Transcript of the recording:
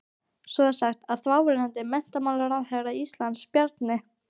Svo er sagt að þáverandi menntamálaráðherra Íslands, Bjarni